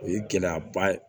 O ye gɛlɛyaba ye